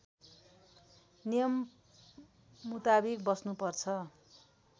नियम मुताविक बस्नुपर्दछ